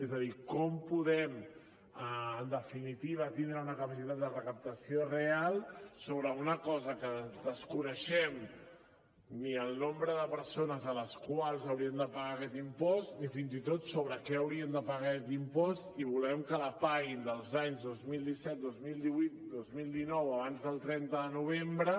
és a dir com podem en definitiva tindre una capacitat de recaptació real sobre una cosa sobre la qual desconeixem el nombre de persones que haurien de pagar aquest impost i fins i tot sobre què haurien de pagar aquest impost i volem que el paguin pels anys dos mil disset dos mil divuit dos mil dinou abans del trenta de novembre